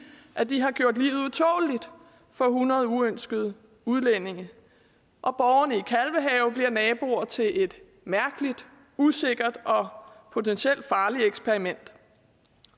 at de har gjort livet utåleligt for hundrede uønskede udlændinge og borgerne i kalvehave bliver naboer til et mærkeligt usikkert og potentielt farligt eksperiment